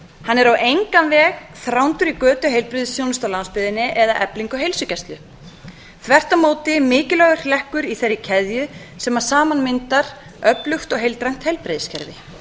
hann er á engan veg þrándur í götu heilbrigðisþjónustu á landsbyggðinni eða eflingu á heilsugæslu þvert á móti mikilvægur hlekkur í þeirri keðju sem saman myndar öflugt og heildrænt heilbrigðiskerfi